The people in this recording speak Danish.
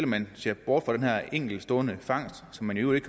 man ser bort fra den her enkeltstående fangst som man i øvrigt